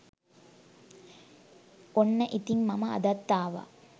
ඔන්න ඉතින් මම අදත් ආවා